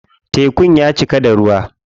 Tekun ya cika da ruwa.